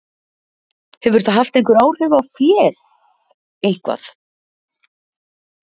Hefur það haft áhrif á féð, eitthvað?